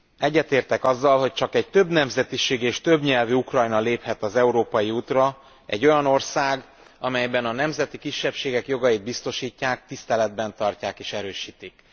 Egyetértek azzal, hogy csak egy többnemzetiségű és többnyelvű Ukrajna léphet az európai útra, egy olyan ország, amelyben a nemzeti kisebbségek jogait biztosítják, tiszteletben tartják és erősítik.